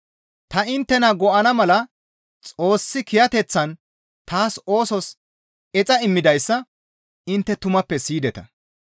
Ta inttena go7ana mala Xoossi kiyateththan taas oosos exa immidayssa intte tumappe siyideta.